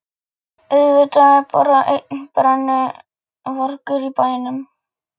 Laxness fyrir skáldsöguna Bátur með segli og allt.